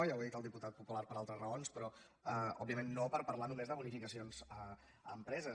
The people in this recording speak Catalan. ja ho ha dit el diputat popular per altres raons però òbviament no per parlar només de bonificacions a empreses